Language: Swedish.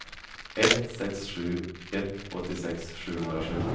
ett sex sju ett åttiosex sjuhundrasju